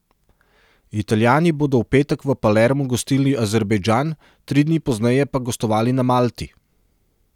Italijani bodo v petek v Palermu gostili Azerbajdžan, tri dni pozneje pa gostovali na Malti.